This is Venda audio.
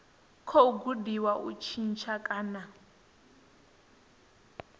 khou gudiwa u tshintsha kana